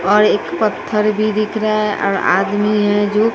और एक पत्थर भी दिख रहा है और आदमी है जो--